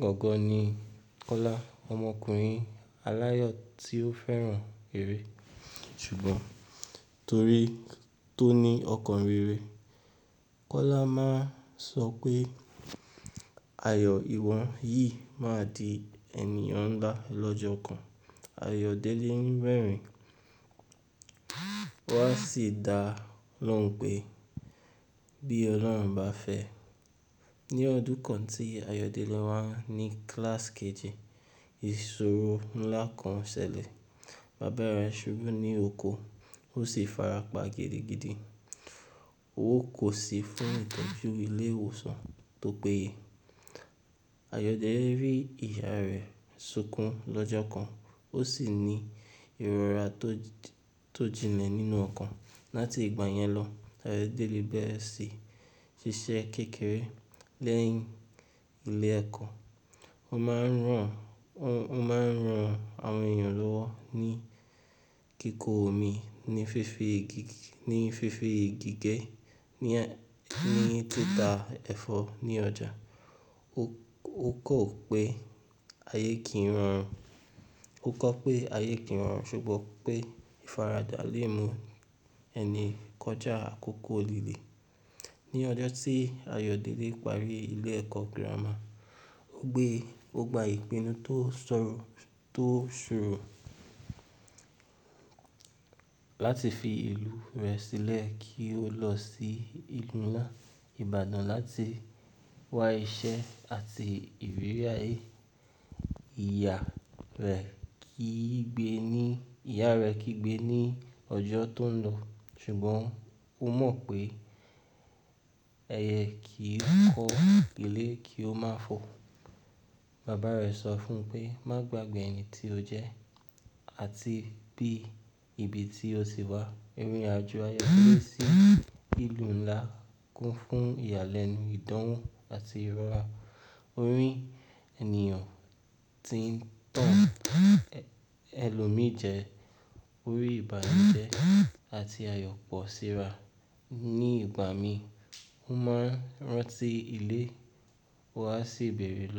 gangan ni Kọ́lá, ọmọkùnrin aláyọ̀ tí ó fẹ́ràn eré. Ṣùgbọ́n torí tó ní ọkàn rere, Kọ́lá máa ń sọ pé ayọ̀ ìwọ̀ yìí máa di ènìyàn ńlá lọ́jọ́ kan. Ayọ̀délé ń rẹ̀rin, wọ́n á sì dá lóhùn pé bí Ọlọ́run bá fẹ́. Ní ọdún kan tí Ayọ̀délé wà ní kíláàsì kejì, ìṣòro ńlá kan ṣẹlẹ̀. Bàbá rẹ̀ ṣubú ní oko, ó sì farapa gidigidi. Ó wó kó sí fún ìtojú ilé ìwòsàn tó péye. Ayọ̀délé rí ìyá rẹ̀ sunkún lọ́jọ́ kan, ó sì ní ìrora tó, tó jinlẹ̀ nínú ọkàn. Láti ìgbà yẹn lọ, Ayọ̀délé bẹ̀rẹ̀ síí ṣiṣẹ́ kékeré lẹ́yìn ilé ẹ̀kọ́. Ó máa ń ràn, ó máa ń ran àwọn èèyàn lọ́wọ́ ní kíkó omi, ní fífi, ní fífi ìgí ge, ní, ní tità ẹ̀fọ́ ní ọjà. Ó kan wo pé ayé kìí rorun, ó kọ pé ayé kìí rorun ṣùgbọ́n pé ìfaradà lè mú ẹni kọjá àkókò líle. Ní ọjọ́ tí Ayọ̀délé parí ilé ẹ̀kọ́ gírámà, ó gbé, ó gba ìpinnu tó ṣọ́rùn, tó ṣòro láti fi ìlú rẹ̀ sílẹ̀ kí ó lọ sí ìlú ńlá, Ìbàdàn láti wá iṣẹ́ àti ìrírí ayé. Ìyá rẹ̀ kì í gbé ní, ìyá rẹ̀ kì í gbé ní ọjọ́ tó ń lọ, ṣùgbọ́n ó mọ̀ pé ẹyẹ kì í kọ́ ilé kí ó má fò. Bàbá rẹ̀ sọ fún un pé, "Má gbagbe ẹni tí o jẹ́ àti bí ibi tí o sì wá." Irinàjò Ayọ̀délé sí ìlú ńlá kún fún ìyàlẹ́nu, ìdánwó àti ìrora orí ènìyàn tí ń tàn, ẹlòmíìjẹ, orí ìbànújẹ́ àti àyòpọ̀ síra. Ní ìgbà mi, ó máa ń rántí ilé, ó á sì bẹ̀rẹ̀ lọ.